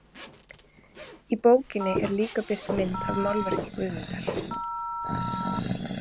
Í bókinni er líka birt mynd af málverki Guðmundar.